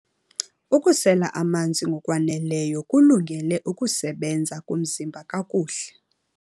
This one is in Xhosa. Ukusela amanzi ngokwaneleyo kulungele ukusebenza komzimba kakuhle.